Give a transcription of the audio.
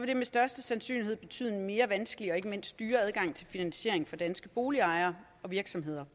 det med største sandsynlighed betyde en mere vanskelig og ikke mindst dyrere adgang til finansiering for danske boligejere og virksomheder